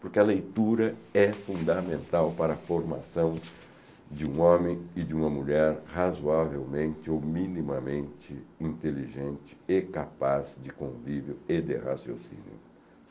Porque a leitura é fundamental para a formação de um homem e de uma mulher razoavelmente ou minimamente inteligente e capaz de convívio e de raciocínio.